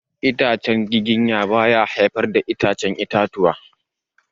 Itacen giginya ba ya haifar da ya'yan itatuwa.